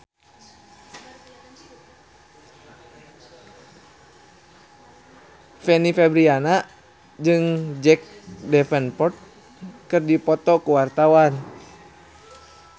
Fanny Fabriana jeung Jack Davenport keur dipoto ku wartawan